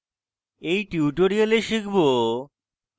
in tutorial শিখব: